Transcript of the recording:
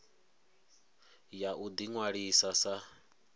ya u ḓi ṅwalisa sa